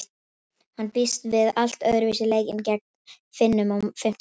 Hann býst við allt öðruvísi leik en gegn Finnum á fimmtudag.